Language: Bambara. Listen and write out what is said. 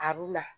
A b'u na